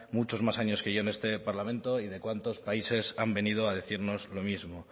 muchos más años que yo en este parlamento y de cuántos países han venido a decirnos lo mismo